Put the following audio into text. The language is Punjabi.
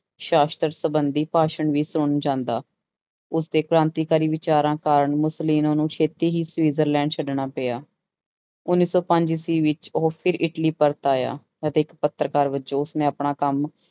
ਸਾਸ਼ਤਰ ਸੰਬੰਧੀ ਭਾਸ਼ਣ ਵੀ ਸੁਣਨ ਜਾਂਦਾ, ਉਸਦੇ ਕ੍ਰਾਂਤੀਕਾਰੀ ਵਿਚਾਰਾਂ ਕਾਰਨ ਮੁਸੋਲੀਨਾ ਨੂੰ ਛੇਤੀ ਹੀ ਸਵਿਜ਼ਰਲੈਂਡ ਛੱਡਣਾ ਪਿਆ, ਉੱਨੀ ਸੌ ਪੰਜ ਈਸਵੀ ਵਿੱਚ ਉਹ ਫਿਰ ਇਟਲੀ ਪਰਤ ਆਇਆ ਅਤੇ ਇੱਕ ਪੱਤਰਕਾਰ ਵਜੋਂ ਉਸਨੇ ਆਪਣਾ ਕੰਮ